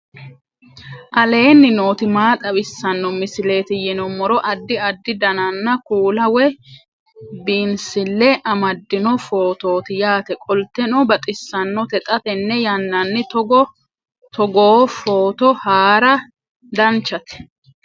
aleenni nooti maa xawisanno misileeti yinummoro addi addi dananna kuula woy biinsille amaddino footooti yaate qoltenno baxissannote xa tenne yannanni togoo footo haara danvchate